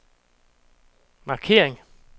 markering